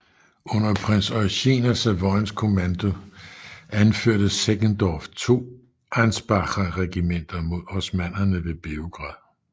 Under prins Eugen af Savoyens kommando anførte Seckendorff to ansbacher regimenter imod osmannerne ved Beograd